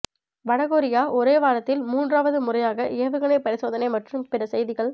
வடகொரியா ஒரே வாரத்தில் மூன்றாவது முறையாக ஏவுகணை பரிசோதனை மற்றும் பிற செய்திகள்